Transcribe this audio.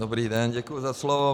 Dobrý den, děkuji za slovo.